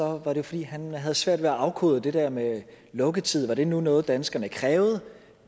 var det fordi han havde svært ved at afkode om det der med lukketid nu var noget danskerne krævede